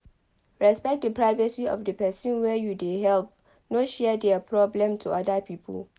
Respect di privacy of di person wey you dey help no share their problem to oda pipo